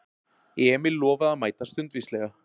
Emil lofaði að mæta stundvíslega.